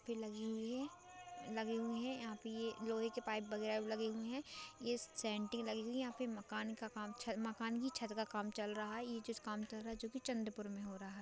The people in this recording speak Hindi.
लगी हुई है लगे हुए है यहा पे यह लोहे के पाइप वगेरा भी लगे हुए है ये लगी हुई है यहा पे मकान का काम चल-- मकान के छत का काम चल रहा है ये जिस काम चल रहा है जो की चंद्रपुर मे हो रहा है।